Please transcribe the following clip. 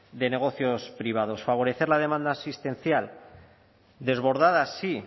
de negocios privados favorecer la demanda asistencial desbordada sí